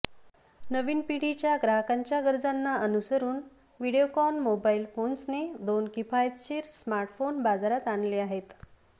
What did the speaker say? नवीन पिढीच्या ग्राहकांच्या गरजांना अनुसरून व्हीडिओकॉन मोबाईल फोन्सने दोन किफायतशीर स्मार्टफोन बाजारात आणले आहेत